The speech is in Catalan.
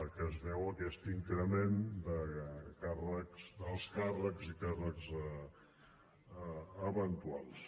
que es deu aquest increment d’alts càrrecs i càrrecs eventuals